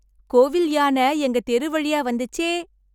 கோவில் யானை எங்க தெரு வழியா வந்துச்சே...